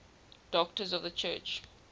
doctors of the church